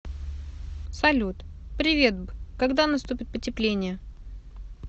салют приветб когда наступит потепление